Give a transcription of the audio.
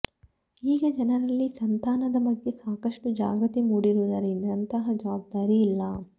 ಈಗ ಜನರಲ್ಲಿ ಸಂತಾನದ ಬಗ್ಗೆ ಸಾಕಷ್ಟು ಜಾಗೃತಿ ಮೂಡಿರುವುದರಿಂದ ಅಂತಹ ಜವಾಬ್ದಾರಿ ಇಲ್ಲ